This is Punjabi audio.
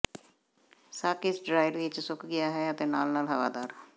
ਸੱਕ ਇਸ ਡ੍ਰਾਇਰ ਵਿਚ ਸੁੱਕ ਗਿਆ ਹੈ ਅਤੇ ਨਾਲ ਨਾਲ ਹਵਾਦਾਰ